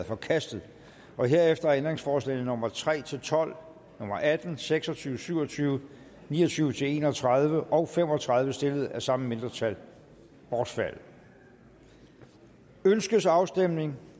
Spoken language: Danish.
forkastet herefter er ændringsforslagene nummer tre tolv atten seks og tyve syv og tyve ni og tyve til en og tredive og fem og tredive stillet af samme mindretal bortfaldet ønskes afstemning